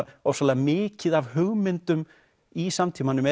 ofsalega mikið af hugmyndum í samtímanum